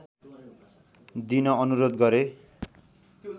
दिन अनुरोध गरे